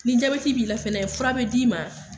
Ni jabɛti b'i la fɛnɛ fura be d'i ma